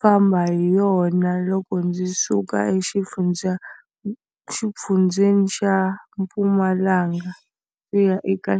famba hi yona loko ndzi suka exifundzeni xa Mpumalanga ku ya eka .